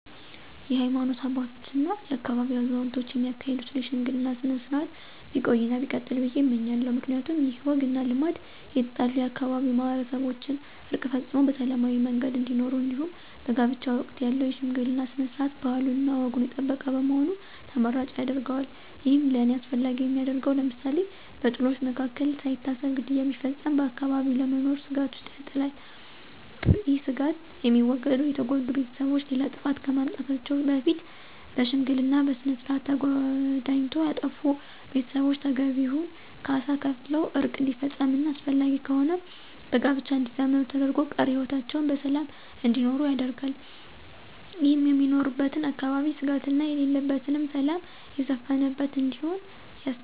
የሀይማኖት አባቶች እና የአካባቢው አዛውንቶች የሚያካሂዱትን የሽምግልና ስነ-ስርዓት ቢቆይ እና ቢቀጥል ብዬ እመኛለሁ። ምክንያቱም ይህ ወግ እና ልማድ የተጣሉ የአካባቢው ማህበረሰቦችን ዕርቅ ፈፅመው በሰላማዊ መንገድ እንዲኖሩ እንዲሁም በጋብቻ ወቅት ያለው የሽምግልና ስነ-ስርዓት ባህሉንና ወጉን የጠበቀ በመሆኑ ተመራጭ ያደርገዋል። ይህም ለእኔ አስፈላጊ የሚያደርገው ለምሳሌ፦ በጥሎች መካከል ሳይታሰብ ግድያ ቢፈፀም በአካባቢው ለመኖር ስጋት ውስጥ ይጥላል። ይህ ስጋት የሚወገደው የተጎዱ ቤተሰቦች ሌላ ጥፋት ከማምጣታቸው በፊት በሽምግልና ስነስርዓት ተዳኝቶ ያጠፉ ቤተሰቦች ተገቢውን ካሳ ከፍለው ዕርቅ እንዲፈፀምና አስፈላጊ ከሆነም በጋብቻ እንዲዛመዱ ተደርጎ ቀሪ ህይወታቸውን በሰላም እንዲኖሩ ያደርጋል። ይህም የምኖርበትን አካባቢ ስጋት የሌለበትና ሰላም የሰፈነበት እንዲሆን ያስችለዋል።